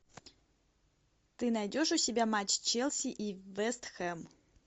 ты найдешь у себя матч челси и вест хэм